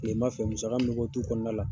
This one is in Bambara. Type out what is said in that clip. Kilema fɛ musaka min mɛ bɔ dukɔnɔna la